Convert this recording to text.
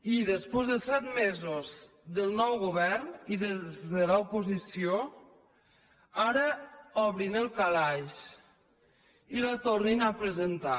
i després de set mesos del nou govern i des de l’oposició ara obrin el calaix i la tornin a presentar